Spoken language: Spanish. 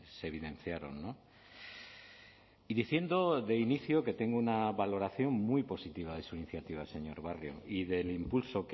se evidenciaron y diciendo de inicio que tengo una valoración muy positiva de su iniciativa señor barrio y del impulso